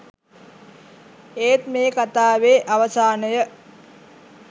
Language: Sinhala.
ඒත් මේ කතාවේ අවසානය